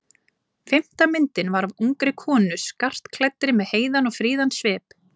Fimmta myndin var af ungri konu skartklæddri með heiðan og fríðan svip.